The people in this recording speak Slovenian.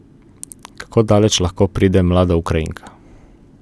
Kako daleč lahko pride mlada Ukrajinka.